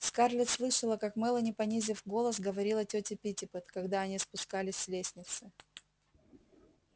скарлетт слышала как мелани понизив голос говорила тёте питтипэт когда они спускались с лестницы